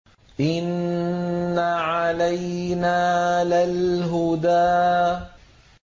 إِنَّ عَلَيْنَا لَلْهُدَىٰ